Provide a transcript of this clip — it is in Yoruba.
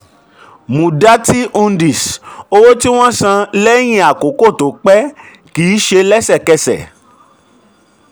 muddati hundi: um owó tí wọ́n san um lẹ́yìn àkókò tó um pé kìí kìí ṣe lẹ́sẹ̀kẹsẹ̀.